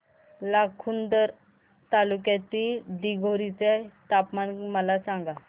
लाखांदूर तालुक्यातील दिघोरी चे तापमान मला सांगा